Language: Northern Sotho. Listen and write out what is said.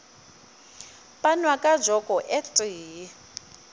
panwa ka joko e tee